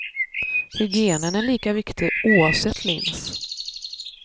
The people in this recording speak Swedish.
Hygienen är lika viktig oavsett lins.